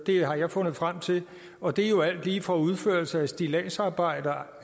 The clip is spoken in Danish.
har jeg fundet frem til og det er jo alt lige fra udførelse af stilladsarbejde